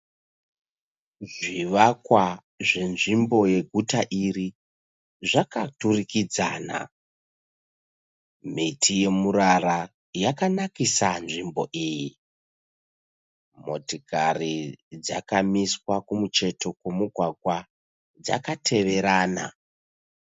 Zvivakwa zvenzvimbo yeguta iri zvakaturikidzana. Miti yemirara yakanakisa nzvimbo iyi. Motokari dzakamiswa kumucheto kwemugwagwa dzakateverana.